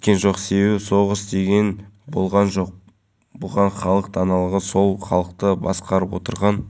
соңына дейін еліміздің бас қаласында тағы алаң орнатылады бір ойын кешенін орнытуға млн теңгеге жуық